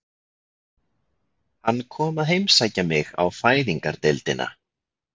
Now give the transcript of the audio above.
Hann kom að heimsækja mig á Fæðingardeildina.